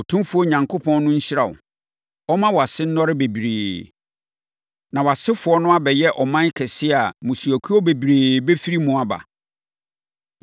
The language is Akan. Otumfoɔ Onyankopɔn no nhyira wo. Ɔmma wʼase nnɔre bebree, na wʼasefoɔ no abɛyɛ ɔman kɛseɛ a mmusuakuo bebree bɛfiri mu aba.